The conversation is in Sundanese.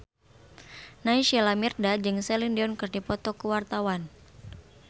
Naysila Mirdad jeung Celine Dion keur dipoto ku wartawan